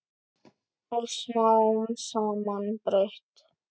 Og smám saman breyt